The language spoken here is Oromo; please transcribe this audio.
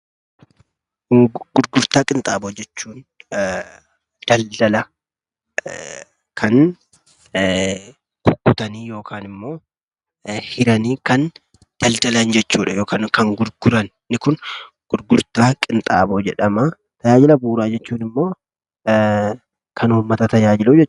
Gurgurtaa qinxaaboo jechuun daldala kan kukkutanii yookaan hiranii kan daldalan jechuudha yookan kan gurguran gurgurtaa qinxaaboo jedhama. Tajaajila bu'uraa jechuun ammoo kan uummata tajaajilu jechuudha.